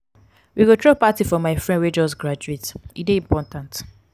we go throw party for my friend wey just graduate; e dey important.